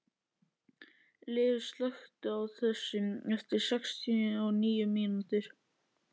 Liv, slökktu á þessu eftir sextíu og níu mínútur.